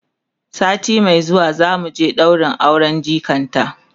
sati Mai zuwa zamu je ɗaurin auren jikata